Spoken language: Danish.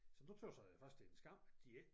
Så nu tøs jeg faktisk det er en skam at de ikke